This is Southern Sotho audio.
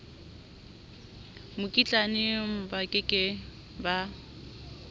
mokitlane ba ke ke ba